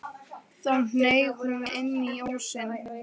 Þá hneig hún inn í ósinn.